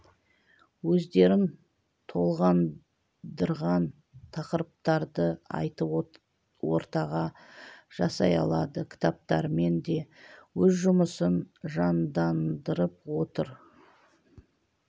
өздерін толғандырған тақырыптарды айтып ортаға жасай алады кітаптармен де өз жұмысын жандандырып отыр